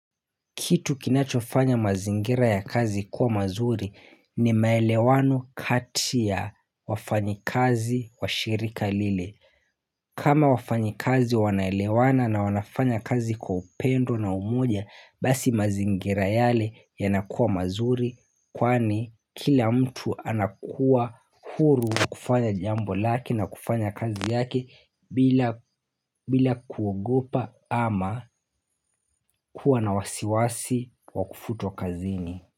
Kitu kinachofanya mazingira ya kazi kuwa mazuri ni maelewano kati ya wafanyikazi wa shirika lile. Kama wafanyikazi wanaelewana na wanafanya kazi kwa upendo na umoja basi mazingira yale yanakuwa mazuri. Kwani kila mtu anakuwa huru kufanya jambo lake na kufanya kazi yake bila bila kuogopa ama kuwa na wasiwasi wa kufutwa kazini.